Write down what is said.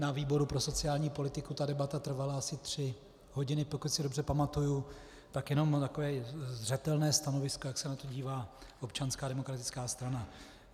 Na výboru pro sociální politiku ta debata trvala asi tři hodiny, pokud si dobře pamatuji, tak jenom takové zřetelné stanovisko, jak se na to dívá Občanská demokratická strana.